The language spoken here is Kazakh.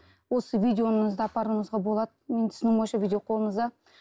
осы видеоңызды апаруыңызға болады менің түсінігім бойынша видео қолыңызда